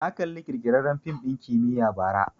Na kalla ƙirƙirarren fim ɗin kimiyya bara